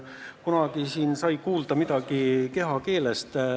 Kunagi siin räägiti midagi kehakeelest.